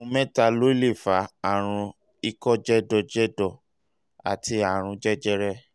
ohun mẹ́ta ló um lè fà á: àrùn ikọ́ jẹ̀dọ̀jẹ̀dọ̀ àti àrùn jẹjẹrẹ